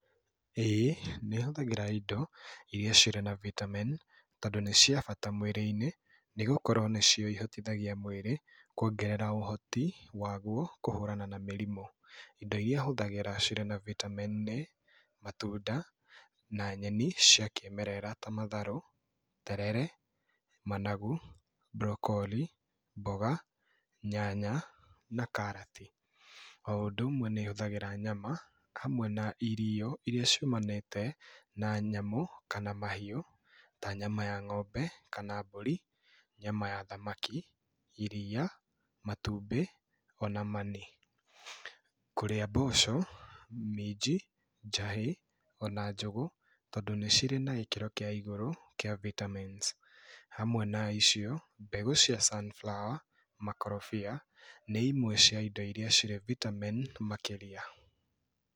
Ĩĩ, nĩ hũthagĩra indo iria cirĩ na vitamin tondũ nĩ ciabata mwĩrĩ-inĩ, nĩ gũkorwo nĩcio ihotithagia mwĩrĩ kuongerera ũhoti waguo kũhũrana na mĩrimũ. Indo iria hũthagĩra cirĩ na vitamin nĩ matunda na nyeni cia kĩĩmerera ta matharũ, terere, managu, broccoli, mboga, nyanya na karati, o ũndũ ũmwe nĩ hũthagĩra nyama hamwe na irio iria ciumanĩte na nyamu kana na mahiũ ta nyama ya ng'ombe kana mbũri, nyama ya thamaki kana iria matubi ona mani. Kũrĩa mboco, minji, njahĩ ona njũgũ tondũ nĩ cirĩ na gĩkĩro kĩa igũrũ kia vitamin. Hamwe na icio, mbegũ cia sunflower, makorobia nĩ imwe cia indo iria cirĩ vitamin makĩria.